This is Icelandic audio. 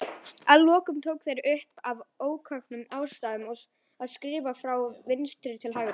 Að lokum tóku þeir svo upp, af ókunnum ástæðum, að skrifa frá vinstri til hægri.